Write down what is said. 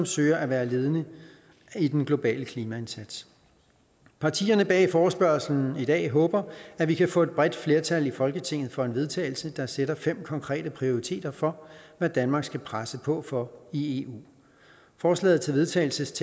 søger at være ledende i den globale klimaindsats partierne bag forespørgslen i dag håber at vi kan få et bredt flertal i folketinget for et vedtagelse der sætter fem konkrete prioriteter for hvad danmark skal presse på for i eu forslaget til vedtagelse